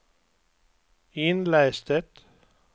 itläs det